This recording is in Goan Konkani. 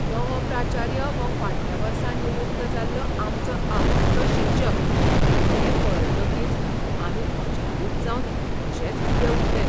नवो प्राचार्य हो फाटल्या वर्सा निवृत्त जाल्लो आमचो आवडटो शिक्षक हें पळयतकीच आमी अजापीत जावन तशेच उबे उरले.